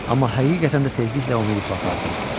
Amma həqiqətən də tezliklə onu yuxu apardı.